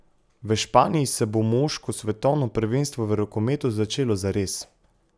V Španiji se bo moško svetovno prvenstvo v rokometu začelo zares.